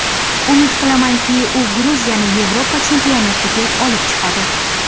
Umid qilamanki, u Gruziyani Yevropa chempionatiga olib chiqadi.